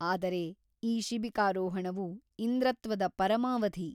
ಅದರೆ ಈ ಶಿಬಿಕಾರೋಹಣವು ಇಂದ್ರತ್ವದ ಪರಮಾವಧಿ.